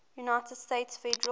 united states federal